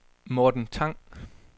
Morten Tang